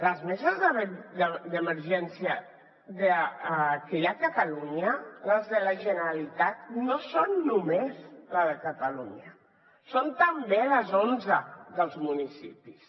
les meses d’emergència que hi ha a catalunya les de la generalitat no són només les de catalunya són també les onze dels municipis